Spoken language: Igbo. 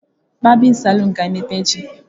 Barbịn salụn ga emepe echi.